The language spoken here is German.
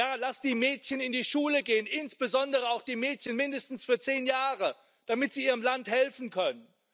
Ja, lasst die Mädchen in die Schule gehen insbesondere auch die Mädchen, mindestens für zehn Jahre damit sie ihrem Land helfen können